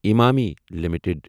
Emami limited